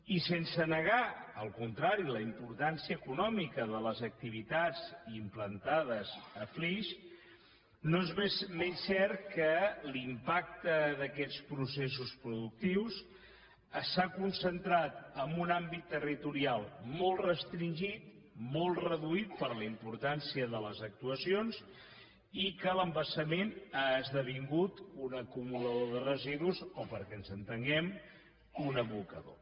i sense negar al contrari la importància econòmica de les activitats implantades a flix no és menys cert que l’impacte d’aquests processos productius s’ha concentrat en un àmbit territorial molt restringit molt reduït per la importància de les actuacions i que l’embassament ha esdevingut un acumulador de residus o perquè ens entenguem un abocador